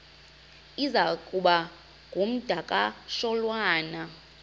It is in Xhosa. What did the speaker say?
iza kuba ngumdakasholwana